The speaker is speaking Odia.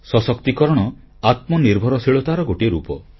ସଶକ୍ତିକରଣ ଆତ୍ମନିର୍ଭରଶୀଳତାର ଗୋଟିଏ ରୂପ